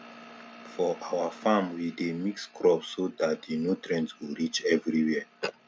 for our farm we dey mix crops so that the nutrients go reach everywhere